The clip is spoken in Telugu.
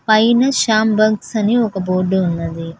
పైన శాంభంగ్స్ అని ఒక బోర్డు ఉన్నది.